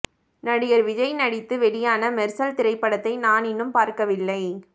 நடிகர் விஜய் நடத்து வெளியான மெர்சல் திரைப்படத்தை நான் இன்னும் பார்க்கவில்லை